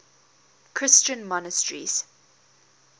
christian monasteries